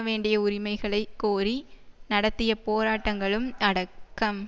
வேண்டிய உரிமைகளை கோரி நடத்திய போராட்டங்களும் அடக்கம்